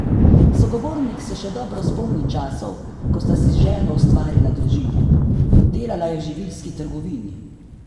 Sogovornik se še dobro spomni časov, ko sta si z ženo ustvarila družino: "Delala je v živilski trgovini.